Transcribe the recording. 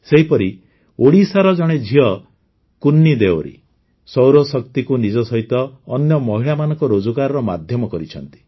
ସେହିପରି ଓଡିଶାର ଜଣେ ଝିଅ କୁନ୍ନି ଦେଓରି ସୌରଶକ୍ତିକୁ ନିଜ ସହିତ ଅନ୍ୟ ମହିଳାମାନଙ୍କ ରୋଜଗାରର ମାଧ୍ୟମ କରିଛନ୍ତି